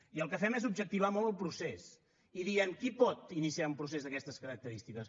i el que fem és objectivar molt el procés i diem qui pot iniciar un procés d’aquestes característiques